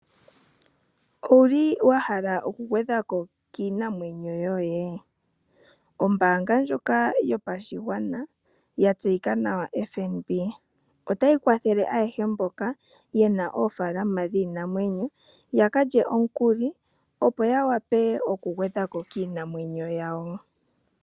Ouli wa hala okugwedhako kiinamwenyo yoye? Ombaanga ndjoka yopashigwana ya tseyika nawa FNB otayi kwathele ayehe mboka yena oofaalama dhiinamwenyo yaka lye omukuli opo yawape okugwedhako kiinamwenyo yawo.